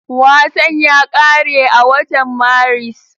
Wasan ya ƙare a watan Maris